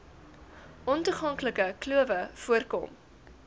ontoeganklike klowe voorkom